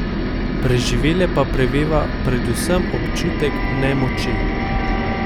Preživele pa preveva predvsem občutek nemoči.